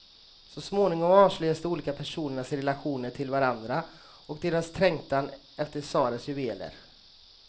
Så småningom avslöjas de olika personernas relationer till varandra och deras trängtan efter tsarens juveler.